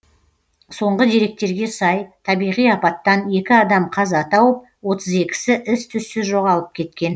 соңғы деректерге сай табиғи апаттан екі адам қаза тауып отыз екісі із түзсіз жоғалып кеткен